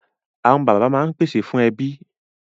Awọn baba maa n pese fun ẹbi